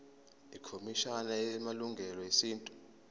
ikhomishana yamalungelo esintu